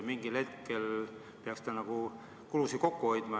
Mingil hetkel peaksite nagu kulusid kokku hoidma.